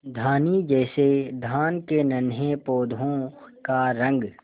धानी जैसे धान के नन्हे पौधों का रंग